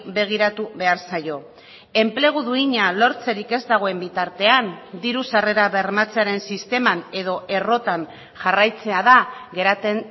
begiratu behar zaio enplegu duina lortzerik ez dagoen bitartean diru sarrera bermatzearen sisteman edo errotan jarraitzea da geratzen